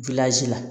la